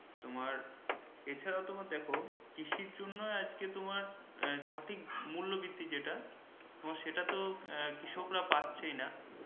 তোমার এছাড়াও তুমি দেখো কৃষির জন্য আজকে তোমার সঠিক মূল্য বৃদ্ধি যেটা তোমার সেতাত কৃষকরা পাচ্ছেই না